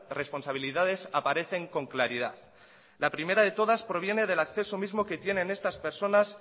responsabilidades aparecen con claridad la primera de todas proviene del acceso mismo que tienen estas personas